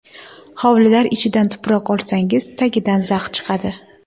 Hovlilar ichidan tuproq olsangiz, tagidan zax chiqadi.